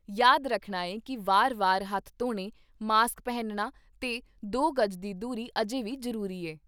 ਯਾਦ ਰੱਖਣਾ ਏ ਕਿ ਵਾਰ ਵਾਰ ਹੱਥ ਧੋਣੇ, ਮਾਸਕ ਪਹਿਨਣਾ ਤੇ ਦੋ ਗਜ਼ ਦੀ ਦੂਰੀ ਅਜੇ ਵੀ ਜ਼ਰੂਰੀ ਹੈ"